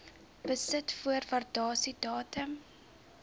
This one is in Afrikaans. besit voor waardasiedatum